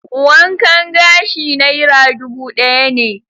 Wankan gashi naira dubu ɗaya ne.